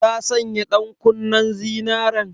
Ta sanya ɗankunnen zinaren?